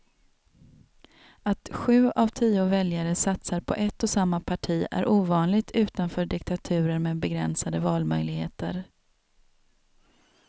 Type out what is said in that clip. Att sju av tio väljare satsar på ett och samma parti är ovanligt utanför diktaturer med begränsade valmöjligheter.